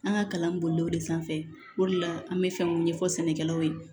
An ka kalan bolila o de sanfɛ o de la an bɛ fɛn mun ɲɛfɔ sɛnɛkɛlaw ye